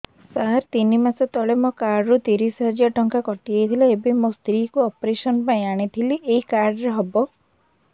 ସାର ତିନି ମାସ ତଳେ ମୋ କାର୍ଡ ରୁ ତିରିଶ ହଜାର ଟଙ୍କା କଟିଯାଇଥିଲା ଏବେ ମୋ ସ୍ତ୍ରୀ କୁ ଅପେରସନ ପାଇଁ ଆଣିଥିଲି ଏଇ କାର୍ଡ ରେ ହବ